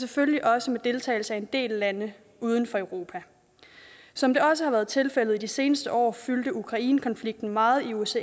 selvfølgelig også med deltagelse af en del lande uden for europa som det også har været tilfældet i de seneste år fyldte ukrainekonflikten meget i osces